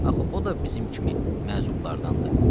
Axı o da bizim kimi məhzurlardandır.”